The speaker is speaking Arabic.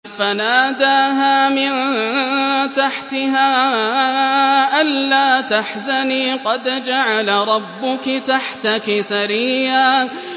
فَنَادَاهَا مِن تَحْتِهَا أَلَّا تَحْزَنِي قَدْ جَعَلَ رَبُّكِ تَحْتَكِ سَرِيًّا